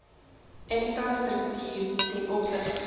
infrastruktuur ten opsigte